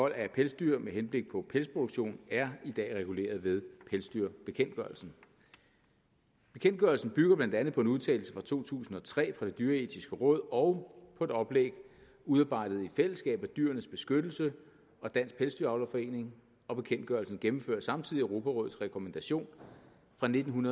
af pelsdyr med henblik på pelsproduktion er i dag reguleret ved pelsdyrbekendtgørelsen bekendtgørelsen bygger blandt andet på en udtalelse fra to tusind og tre fra det dyreetiske råd og på et oplæg udarbejdet i fællesskab af dyrenes beskyttelse og dansk pelsdyravlerforening og bekendtgørelsen gennemfører samtidig europarådets rekommandation fra nitten